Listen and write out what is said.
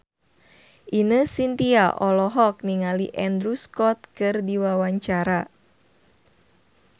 Ine Shintya olohok ningali Andrew Scott keur diwawancara